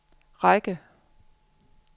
række